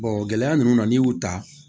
gɛlɛya ninnu na n'i y'u ta